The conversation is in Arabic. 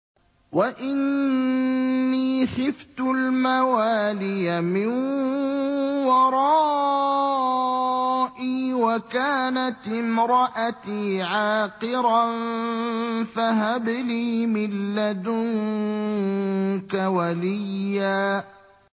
وَإِنِّي خِفْتُ الْمَوَالِيَ مِن وَرَائِي وَكَانَتِ امْرَأَتِي عَاقِرًا فَهَبْ لِي مِن لَّدُنكَ وَلِيًّا